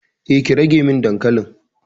Eh, ki rage min dankalin.